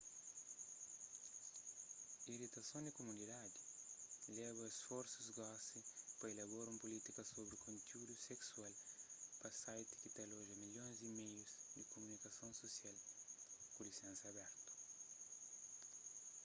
iritason di kumunidadi leba a isforsus gosi pa ilabora un pulítika sobri kontiúdu seksual pa site ki ta aloja milhons di meus di kumunikason susial ku lisensa abertu